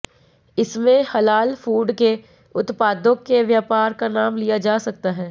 इसमें हलाल फूड के उत्पादों के व्यापार का नाम लिया जा सकता है